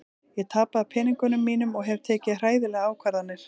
Ég tapaði peningunum mínum og hef tekið hræðilegar ákvarðanir.